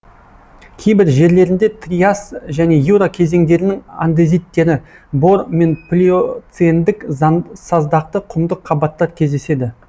кейбір жерлерінде триас және юра кезеңдерінің андезиттері бор мен плиоцендік саздақты құмды қабаттар кездеседі